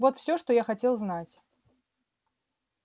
вот всё что я хотел знать